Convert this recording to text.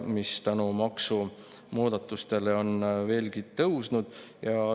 Maksumuudatuste tõttu on veelgi tõusnud.